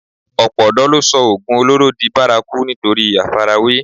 Ọ̀pọ̀ ọ̀dọ̀ ló sọ oògùn olóró di bárakú nítorí àfarawé